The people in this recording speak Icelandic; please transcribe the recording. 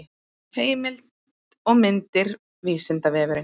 heimild og myndir vísindavefurinn